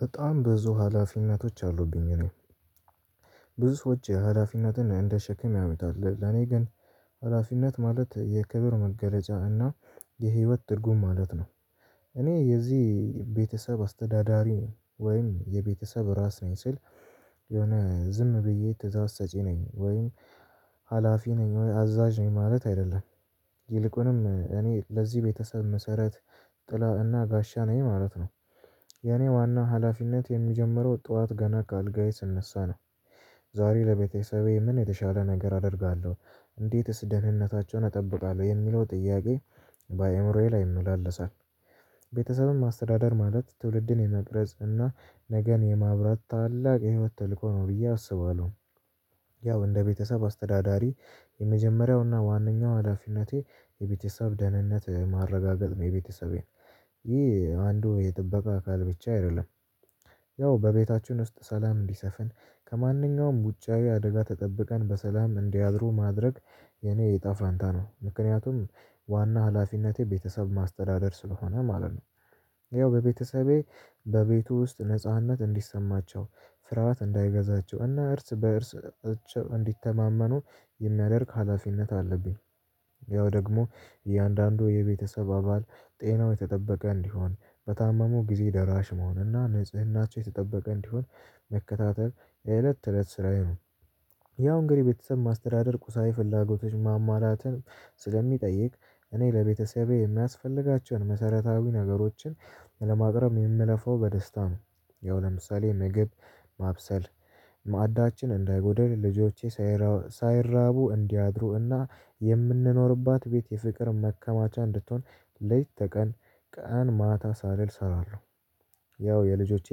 በጣም ብዙ ሀላፊነቶች አሉብኝ። እኔ ብዙ ሰዎች ሀላፊነትን እንደ ሸክም ያዩታል እኔ ግን ሀላፊነት ማለት የክብር መገለጫ እና የህይወት ትርጉም ማለት ነው። እኔ የዚህ ቤተሰብ አስተዳዳሪ ወይም የቤተሰብ ራስ ነኝ ስል። የሆነ ዝም ብዬ ትእዛዝ ሰጪ ነኝ ወይም ሀላፊ ነኝ ወይ አዛዥ ነኝ ማለት አይደለም። ይልቁንም እኔ ለዚህ ቤተሰብ መሰረት ጥላ እና ጋሻ ነኝ ማለት ነው። የኔ ዋና ሀላፊነት የሚጀምረው ጠዋት ገና ከአልጋዬ ስነሳ ነው። ዛሬ ለቤተሰቤ ምን የተሻለ ነገር አደርጋለሁ እንዴትስ ደህንነታቸውን እጠብቃለሁ የሚለው ጥያቄ በአእምሮዬ ላይ ይመላለሳል። ቤተሰብን አስተዳደር ማለት ትውልድን የመቅረጽ እና ነገን የማብራት ታላቅ የህይወት ተልኮ ነው ብዬ አስባለሁ። ያው እንደ ቤተሰብ አስተዳዳሪ የመጀመሪያውና ዋነኛው ሀላፊነቴ የቤተሰብ ደህንነት ማረጋገጥ የቤተሰቤን ይህ አንዱ የጥበቃ አካል ብቻ አይደለም። ያው በቤታችን ውስጥ ሰላም እንዲሰፍን ከማንኛውም ውጫዊ አደጋ ተጠብቀን በሰላም እንዲያድሩ ማድረግ የኔ እጣ ፋንታ ነው። ምክንያቱም ዋና ሀላፊነቴ ቤተሰብ ማስተዳደር ስለሆነ ማለት ነው። ያው በቤተሰቤ በቤት ውስጥ ነጻነት እንዲሰማቸው ፍርሃት እንዳይገዛቸው እና እርስ በእርስ እንዲተማመኑ የሚያደርግ ሀላፊነት አለብኝ። ያው ደግሞ እያንዳንዱ የቤተሰብ አባል ጤናው የተጠበቀ እንዲሆን በታማሙ ጊዜ ደራሽ መሆን እና ንጽህናቸው የተጠበቀ እንዲሆን መከታተል የእለት ተእለት ስራዬ ነው። ያው እንግዲህ ቤተሰብ ማስተዳደር ቁሳዊ ፍላጎቶች ማሟላትን ስለሚጠይቅ እኔ ለቤተሰቤ የማያስፈልጋቸውን መሰረታዊ ነገሮችን ለማቅረብ የምልፋው በደስታ ነው። ያው ለምሳሌ ምግብ ማብሰል ማዕዳችን እንዳይጎደል ልጆቼ ሳይራቡ እንዲያድሩ እና የምንኖርባት ቤት የፍቅር መከማቻ እንድትሆን ሌት ተቀን ቀን ማታ ሳልል እሰራለሁ። ያው የልጆቼ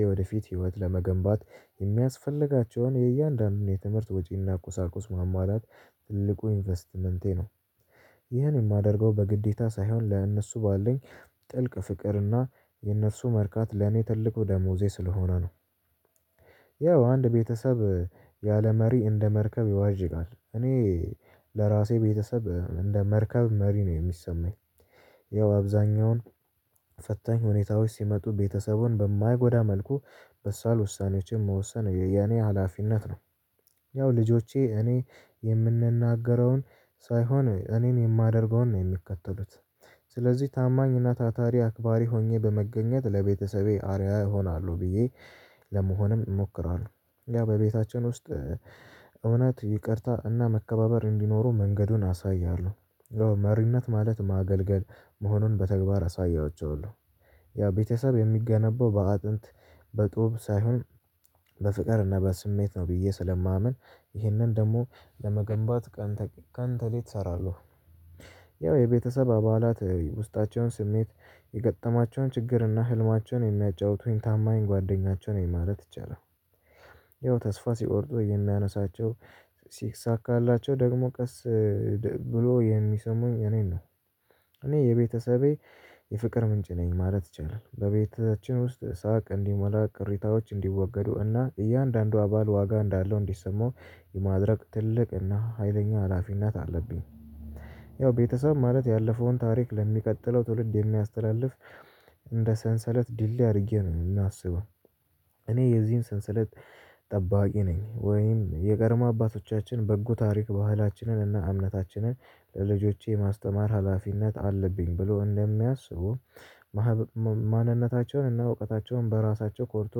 የወደፊት ህይወት ለመገንባት የሚያስፈልጋቸውን የእያንዳንዱን የትምህርት ወጪና ቁሳቁስ ማሟላት ትልቁ ኢንቨስትመንቴ ነው። ይህን የማደርገው በግዴታ ሳይሆን ለእነሱ ባለኝ ጥልቅ ፍቅርና የእነርሱ መርካት ለኔ ትልቁ ደሞዜ ስለሆነ ነው። ያው አንድ ቤተሰብ ያለ መሪ እንደ መርከብ ይዋዥቃል እኔ ለራሴ ቤተሰብ እንደ መርከብ መሪ ነው የሚሰማኝ። ያው አብዛኛውን ፈታኝ ሁኔታዎች ሲመጡ ቤተሰቡን በማይጎዳ መልኩ በሳል ውሳኔዎችን መወሰን የኔ ሀላፊነት ነው። ያው ልጆቼ እኔ የምናገረውን ሳይሆን እኔን የማደርገውን ነው የሚከተሉት። ስለዚህ ታማኝና ታታሪ አክባሪ ሆኜ በመገኘት ለቤተሰቤ አርአያ እሆናለሁ ብዬ ለመሆንም እሞክራለሁ። እኛ በቤታችን ውስጥ እውነት ይቅርታ እና መከባበር እንዲኖሩ መንገዱን አሳያለሁ። መሪነት ማለት ማገልገል መሆኑን በተግባር አሳያቸዋለሁ። ያ ቤተሰብ የሚገነባው በአጥንት በጦብ ሳይሆን በፍቅርና በስሜት ነው ብዬ ስለማምን ይህንን ደግሞ ለመገንባት ቀን ከሌት እሰራለሁ። ያው የቤተሰብ አባላት ውስጣቸውን ስሜት የገጠማቸውን ችግርና ህልማቸውን የሚያጫውቱኝ ታማኝ ጓደኛቸው ነኝ ማለት ይቻላል። ያው ተስፋ ሲቆርጡ የሚያነሳቸው ሲሳካላቸው ደግሞ ቀስ ብሎ የሚሰሙኝ እኔን ነው። እኔ የቤተሰቤ የፍቅር ምንጭ ነኝ ማለት ይቻላል። በቤታችን ውስጥ ሳቅ እንዲሞላ ቅሬታዎች እንዲወገዱ እና እያንዳንዱ አባል ዋጋ እንዳለው እንዲሰማው የማድረግ ትልቅ እና ሀይለኛ ሀላፊነት አለብኝ። ያው ቤተሰብ ማለት ያለፈውን ታሪክ ለሚቀጥለው ትውልድ የሚያስተላልፍ እንደ ሰንሰለት ድልድይ አድርጌ ነው የማስበው። እኔ የዚህን ሰንሰለት ጠባቂ ነኝ ወይም የቀድሞ አባቶቻችን በጎ ታሪክ ባህላችንን እና እምነታችንን ለልጆቼ የማስተማር ሀላፊነት አለብኝ። ብሎ እንደሚያስቡ ማንነታቸውን እና እውቀታቸውን በራሳቸው ቆርጦ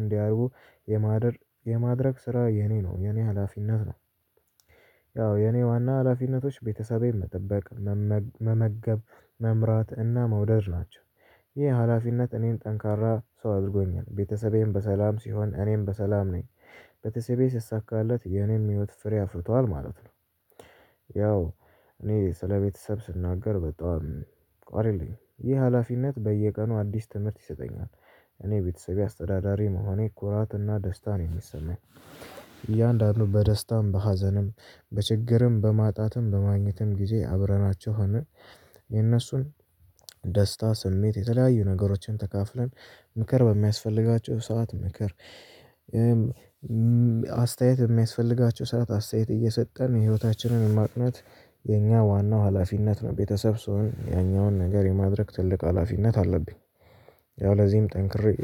እንዲያደርጉ የማድረግ ስራ የኔ ነው የኔ ሀላፊነት ነው። ያው የኔ ዋና ሀላፊነቶች ቤተሰቤን መጠበቅ መመገብ መምራት እና መውደድ ናቸው። ይህ ሀላፊነት እኔን ጠንካራ ሰው አድርጎኛል ቤተሰቤም በሰላም ሲሆን እኔም በሰላም ነኝ። ቤተሰቤ ሲሳካለት የኔም ህይወት ፍሬ አፍርቷል ማለት ነው። ያው እኔ ስለቤተሰብ ስናገር በጣም ቃል የለኝም ይህ ሀላፊነት በየቀኑ አዲስ ትምህርት ይሰጠኛል። እኔ የቤተሰቤ አስተዳዳሪ መሆኔ ኩራት እና ደስታ ነው የሚሰማኝ። እያንዳንዱ በደስታም በሀዘንም በችግርም በማጣትም በማግኘትም ጊዜ አብረናቸው ሆነን የነሱን ደስታ ስሜት የተለያዩ ነገሮችን ተካፍለን ምክር በሚያስፈልጋቸው ሰዓት ምክር አስተያየት በሚያስፈልጋቸው ሰዓት አስተያየት እየሰጠን ህይወታችንን ማቅናት የኛ ዋናው ሀላፊነት ነው። ቤተሰብ ስሆን ያኛውን ነገር የማድረግ ትልቅ ሀላፊነት አለብኝ። ያው ለዚህም ጠንክሬ